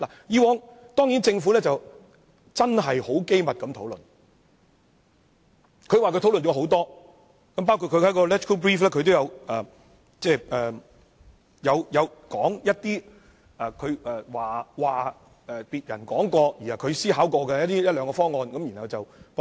之前，政府當然是機密地討論，它說已進行了多次討論，在立法會參考資料摘要中亦提到一兩個別人說過，它也思考過的方案，然後加以駁斥。